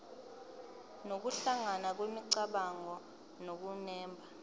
nokuhlangana kwemicabango nokunemba